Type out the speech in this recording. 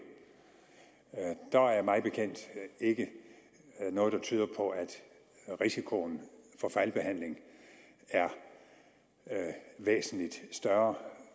der er mig bekendt ikke noget der tyder på at risikoen for fejlbehandling er væsentligt større